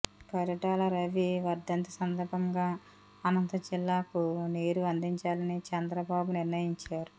పరిటాల రవి వర్ధంతి సందర్భంగా అనంత జిల్లాకు నీరు అందించాలని చంద్రబాబు నిర్ణయించారు